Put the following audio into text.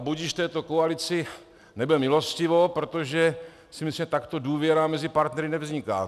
A budiž této koalici nebe milostivo, protože si myslím, že takto důvěra mezi partnery nevzniká.